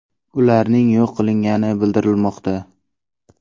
Ularning yo‘q qilingani bildirilmoqda.